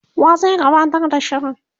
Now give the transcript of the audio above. wa zai gabatar da shirin,?